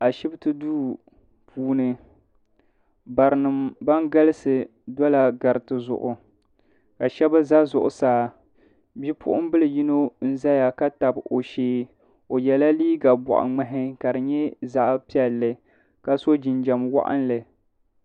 Ashipti duu puuni barinima ban galisi dola gariti zuɣu ka sheba za zuɣusaa nipuɣinbili yino zaya ka tabi o shee o yela liiga boɣa ŋmahi ka di nyɛ zaɣa piɛlli ka so jinjiɛm waɣinli.